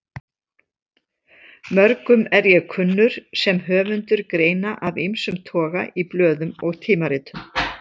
Mörgum er ég kunnur sem höfundur greina af ýmsum toga í blöðum og tímaritum.